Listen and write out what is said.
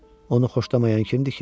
Onu xoşlamayan kimdir ki?